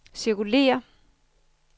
cirkulér